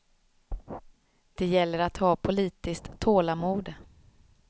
Det gäller att ha politiskt tålamod.